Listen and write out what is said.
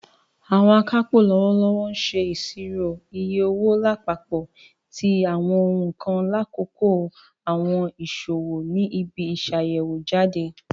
Àwọn akápò lọwọlọwọ ṣe iṣiro iye owo lapapọ ti àwọn ohun kan lakoko àwọn iṣowo ni ibi-iṣayẹwo-jade.